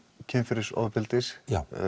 kynferðisofbeldis